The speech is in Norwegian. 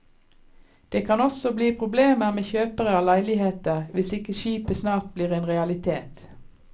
Det kan også bli problemer med kjøpere av leiligheter, hvis ikke skipet snart blir en realitet.